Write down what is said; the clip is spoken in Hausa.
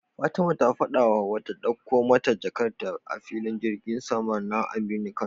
Fatima ta faɗa wa Hauwa ta ɗakko mata jakar ta a filin girgin sama na aminu kano